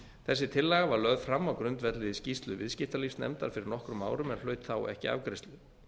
þessi tillaga var lögð fram á grundvelli skýrslu viðskiptalífsnefndar fyrir nokkrum árum en hlaut ekki afgreiðslu